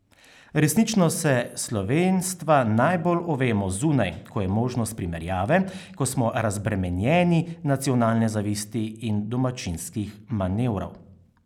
Resnično se slovenstva najbolj ovemo zunaj, ko je možnost primerjave, ko smo razbremenjeni nacionalne zavisti in domačijskih manevrov.